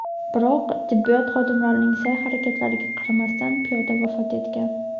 Biroq tibbiyot xodimlarining sa’y-harakatlariga qaramasdan piyoda vafot etgan.